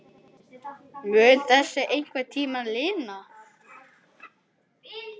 Mun þessu einhvern tímann linna?